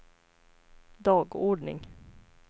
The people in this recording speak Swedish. dagordning